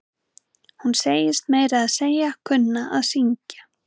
Hún segist meira að segja kunna að syngj.